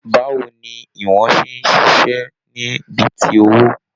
Báwo ní ìwọ̀n ṣe n ṣiṣẹ ni bí tí owó?